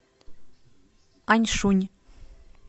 аньшунь